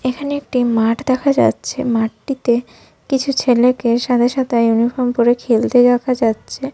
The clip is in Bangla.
এখানে একটি মাঠ দেখা যাচ্ছে। মাঠটিতে কিছু ছেলেকে সাদা সাদা ইউনিফর্ম পরে খেলতে দেখা যাচ্ছে।